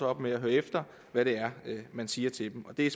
op med at høre efter hvad man siger til dem det er